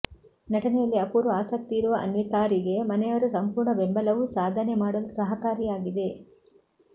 ನಟನೆಯಲ್ಲಿ ಅಪೂರ್ವ ಆಸಕ್ತಿಯಿರುವ ಅನ್ವಿತಾರಿಗೆ ಮನೆಯವರ ಸಂಪೂರ್ಣ ಬೆಂಬಲವೂ ಸಾಧನೆ ಮಾಡಲು ಸಹಕಾರಿಯಾಗಿದೆ